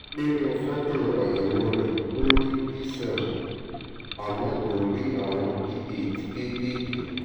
nínú fọ́tò àyẹ̀wò rẹ̀ ó rí d seven àmọ́ kò rí àwọn d eight kéékèèké